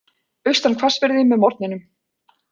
Austan hvassviðri með morgninum